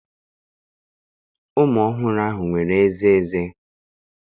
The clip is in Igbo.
Ụmụ ọhụrụ ahụ nwere ezé ezé.